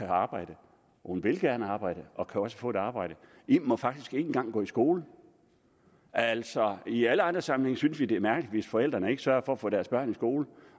arbejde hun vil gerne arbejde og kan også få et arbejde im må faktisk ikke engang gå i skole altså i alle andre sammenhænge synes vi det er mærkeligt hvis forældrene ikke sørger for at få deres børn i skole